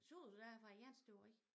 Så du da var æ jernstøberi?